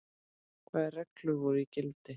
Hvaða reglur voru í gildi?